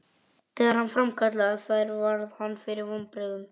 Þegar hann framkallaði þær varð hann fyrir vonbrigðum.